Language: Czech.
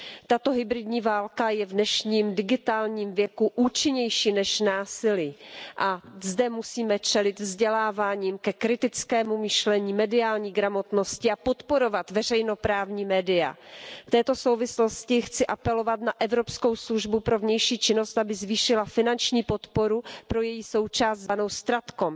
Tato hybridní válka je v dnešním digitálním věku účinnější než násilí a musíme zde čelit vzděláváním ke kritickému myšlení, mediální gramotnosti a podporovat veřejnoprávní média. V této souvislosti chci apelovat na Evropskou službu pro vnější činnost, aby zvýšila finanční podporu pro její součást zvanou StratCom.